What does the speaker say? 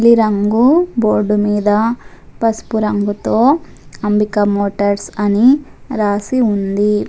నీలి రంగు బోర్డు మీద పసుపు రంగుతో అంబికా మోటర్స్ అని రాసి ఉంది.